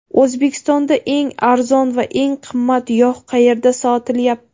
O‘zbekistonda eng arzon va eng qimmat yog‘ qayerda sotilyapti?.